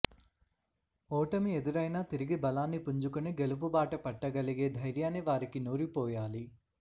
ఓటమి ఎదురైనా తిరిగి బలాన్ని పుంజుకుని గెలుపుబాట పట్టగలిగే ధైర్యాన్ని వారికి నూరిపోయాలి